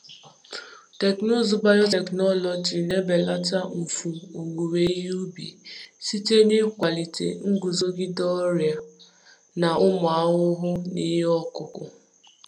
Teknụzụ biotechnology na-ebelata mfu owuwe ihe ubi site n’ịkwalite nguzogide ọrịa n’ịkwalite nguzogide ọrịa na ụmụ ahụhụ n’ihe ọkụkụ.